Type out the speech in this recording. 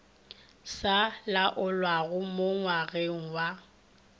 sa laolwago mo ngwageng wa